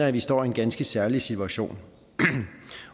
at vi står i en ganske særlig situation